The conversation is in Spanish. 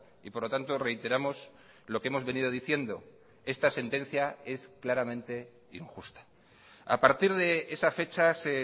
y por lo tanto reiteramos lo que hemos venido diciendo esta sentencia es claramente injusta a partir de esa fecha se